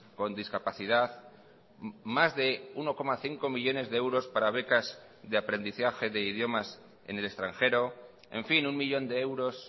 con discapacidad más de uno coma cinco millónes de euros para becas de aprendizaje de idiomas en el extranjero en fin uno millón de euros